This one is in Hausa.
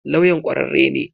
Lawyan kwararre ne?